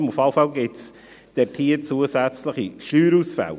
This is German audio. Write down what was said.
Jedenfalls gibt es hier zusätzliche Steuerausfälle.